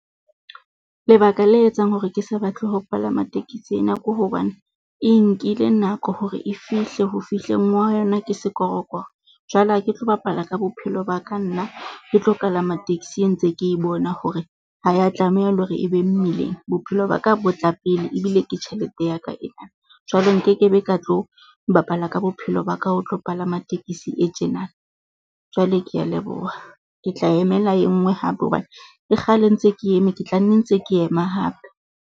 Lebaka le etsang hore ke sa batle ho palama tekesi ena ke hobane e nkile nako hore e fihle ho fihleng ha yona ke sekorokoro. Jwale ha ke tlo bapala ka bophelo ba ka nna ke tlo kalama taxi e ntse ke bona hore ha ya tlameha le hore e be mmileng. Bophelo ba ka bo tla pele ebile ke tjhelete ya ka ena. Jwale nkekebe ka tlo bapala ka bophelo ba ka, ho tlo palama tekesi e tjena. Jwale kea leboha. Ke tla emela e nngwe hape, hobane ke kgale ntse ke eme, ke tla nne ntse ke ema hape.